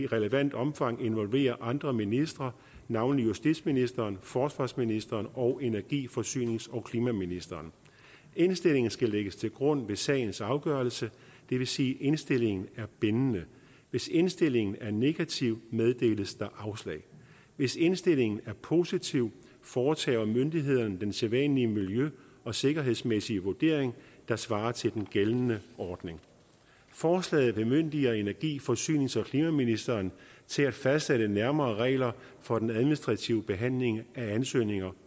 relevant omfang involverer andre ministre navnlig justitsministeren forsvarsministeren og energi forsynings og klimaministeren indstillingen skal lægges til grund ved sagens afgørelse det vil sige at indstillingen er bindende hvis indstillingen er negativ meddeles der afslag hvis indstillingen er positiv foretager myndighederne den sædvanlige miljø og sikkerhedsmæssige vurdering der svarer til den gældende ordning forslaget bemyndiger energi forsynings og klimaministeren til at fastsætte nærmere regler for den administrative behandling af ansøgninger